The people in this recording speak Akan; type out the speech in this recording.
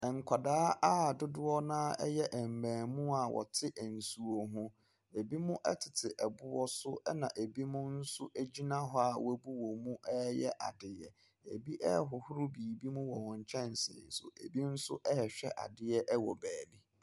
Nkwadaa a dodoɔ no ara yɛ mmaamua a wɔte nsuo ho, binom tete boɔ so na binom nso gyina hɔ a wɔabu wɔn mu ɛreyɛ adeɛ. Binom ɛrehohoro biribi wɔ wɔn nkyɛnse so, binom nso ɛrehwɛ adeɛ wɔ beebi.